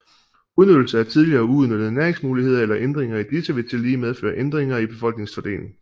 Udnyttelse af tidligere uudnyttede næringsmuligheder eller ændringer i disse vil tillige medføre ændringer i befolkningens fordeling